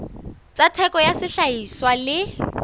tsa theko ya sehlahiswa le